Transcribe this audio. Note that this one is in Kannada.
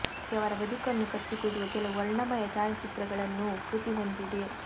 ಜೊತೆಗೆ ಅವರ ಬದುಕನ್ನು ಕಟ್ಟಿಕೊಡುವ ಕೆಲವು ವರ್ಣಮಯ ಛಾಯಚಿತ್ರಗಳನ್ನೂ ಕೃತಿ ಹೊಂದಿದೆ